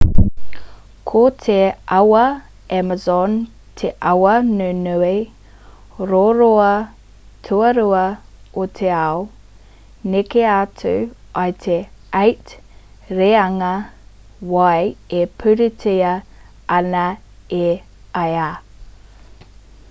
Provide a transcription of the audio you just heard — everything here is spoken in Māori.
ko te awa amazon te awa nunui roroa tuarua o te ao neke atu i te 8 reanga wai e pūritia ana e ia